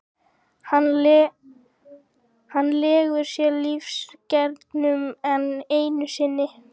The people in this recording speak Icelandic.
Hann leggur sér lífsreglurnar enn einu sinni.